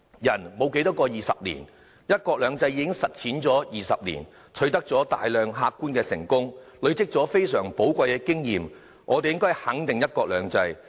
人生沒有多少個20年，"一國兩制"已實踐了20年，取得大量客觀的成功，累積了非常寶貴的經驗，我們應該肯定"一國兩制"。